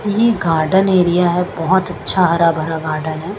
ये garden area है बोहोत अच्चा हरा भरा गार्डन है।